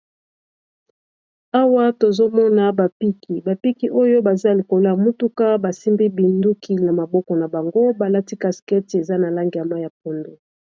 Awa, tozomona bapiki. Bapiki oyo, baza likolo ya motuka. Basimbi binduki na maboko na bango. Balati caskete eza na langî ya pondo.